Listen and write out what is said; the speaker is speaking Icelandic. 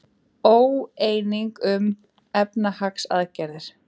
Óeining um efnahagsaðgerðir